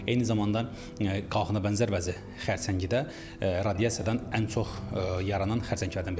Eyni zamanda qalxına bənzər vəzi xərçəngi də radiasiyadan ən çox yaranan xərçənglərdən biridir.